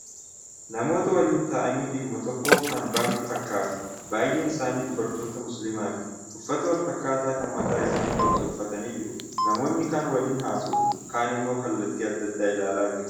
Namoota waliin ta'anii dhimma tokkoof ba'an fakkatu. Baay'een isaanii dubartoota musliimaati. Uffata walfakkaataa kan mataa isaanii dhoksu uffatanii jiru. Namoonni kaan waliin haasa'u, kaan immoo kallattii adda addaa ilaalaa jiru.